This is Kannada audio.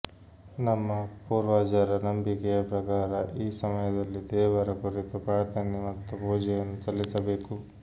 ನಮ್ಮ ಪೂರ್ವಜರ ನಂಬಿಕೆಯ ಪ್ರಕಾರ ಈ ಸಮಯದಲ್ಲಿ ದೇವರ ಕುರಿತು ಪ್ರಾರ್ಥನೆ ಮತ್ತು ಪೂಜೆಯನ್ನು ಸಲ್ಲಿಸಬೇಕು